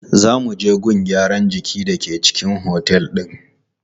Za mu je gun gyaran jiki da ke cikin otel din.